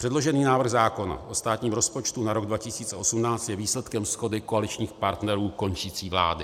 Předložený návrh zákona o státním rozpočtu na rok 2018 je výsledkem shody koaličních partnerů končící vlády.